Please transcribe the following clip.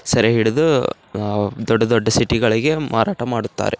ಸರಿ ಹಿಡಿದು ಅಹ್ ದೊಡ್ಡ್ ದೊಡ್ಡ್ ಸಿಟಿ ಗಳಿಗೆ ಮಾರಾಟ ಮಾಡುತ್ತಾರೆ.